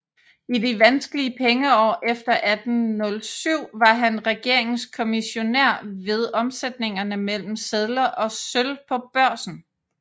I de vanskelige pengeår efter 1807 var han regeringens kommissionær ved omsætningerne mellem sedler og sølv på børsen